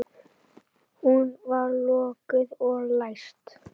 Hún er lokuð og læst.